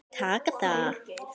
Taka það?